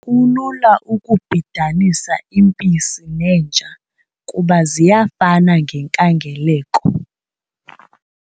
Kulula ukubhidanisa impisi nenja kuba ziyafana ngenkangeleko.